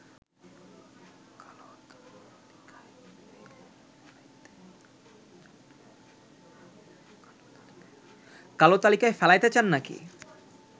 কালো তালিকায় ফেলাইতে চান নাকি